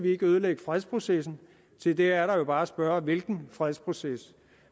ikke ødelægge fredsprocessen til det er der jo bare at spørge hvilken fredsproces